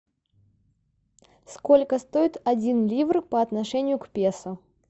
сколько стоит один ливр по отношению к песо